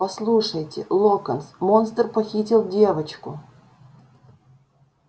послушайте локонс монстр похитил девочку